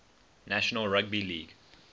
national rugby league